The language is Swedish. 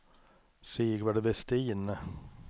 Sigvard Vestin